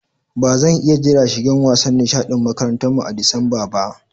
Ba zan iya jira shigan wasan nishadin makarantan mu a'Disamba ba.